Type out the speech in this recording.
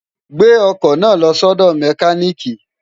gbè ọkọ̀ náà lọ sọ́dọ̀ mẹkánị́ìkì!